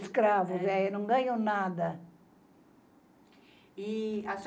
Escravos, é, e não ganham nada. E a senhora